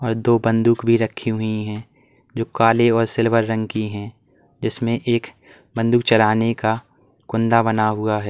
और दो बंदूक भी रखी हुई हैं जो काले और सिल्वर रंग की हैं जिसमें एक बंदूक चलाने का कुंदा बना हुआ है।